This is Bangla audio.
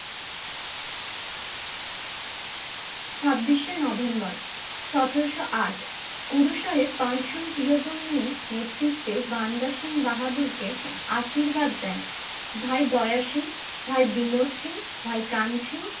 ছাব্বিশে নভেম্বর সতেরোশো আট, গুরু সাহেব পাঁচজন প্রিয়জন নিয়ে নেতৃত্বে বান্দা সিং বাহাদুরকে আশীর্বাদ দেন। ভাই দয়া সিং, ভাই বিনোদ সিং, ভাই কান সিং